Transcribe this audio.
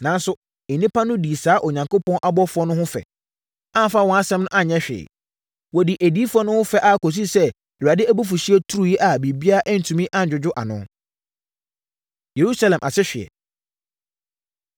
Nanso, nnipa no dii saa Onyankopɔn abɔfoɔ no ho fɛ, amfa wɔn nsɛm no anyɛ hwee. Wɔdii adiyifoɔ no ho fɛ ara kɔsii sɛ Awurade abufuhyeɛ turiiɛ a biribiara antumi annwodwo ano. Yerusalem Asehweɛ